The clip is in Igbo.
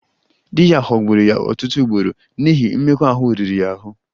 Di ya ghọgburu ya ọtụtụ ugboro n'ihi mmekọahụ riri ya ahụ